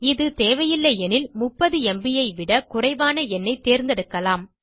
இது தேவையில்லை எனில் 30ம்ப் ஐ விட குறைவான எண்ணை தேர்ந்தெடுக்கலாம்